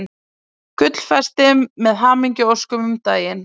Gullfesti með hamingjuóskum um daginn.